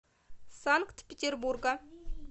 санкт петербурга